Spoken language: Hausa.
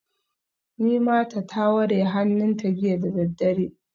Nimata ta ware hannunta jiya da daddare